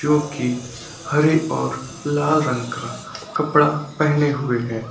जो की हरे और लाल रंग का कपड़ा पेहने हुए है।